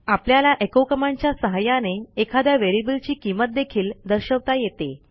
आपल्याला echo command च्या सहाय्याने एखाद्या व्हेरिएबल ची किंमत देखील दर्शवता येते